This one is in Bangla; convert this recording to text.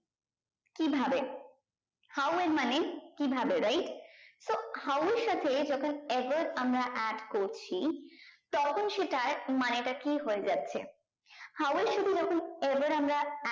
কি ভাবে how এর মানে কি ভাবে right so how এর সাথে যখন above আমরা add করেছি তখন সেটার মানেটা কি হয়ে যাচ্ছে how এর সাথে যখন above আমরা